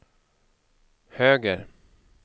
höger